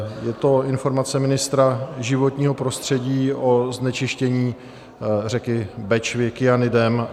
Je to Informace ministra životního prostředí o znečištění řeky Bečvy kyanidem.